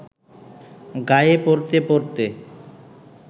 গায়ে পরতে পরতে